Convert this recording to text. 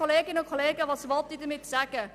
Was will ich damit sagen?